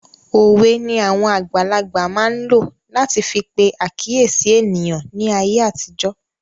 Òwe ni àwon àgbàlagbà máa n lo lati fi pe àkíyèsí eniyan ní ayé àtijó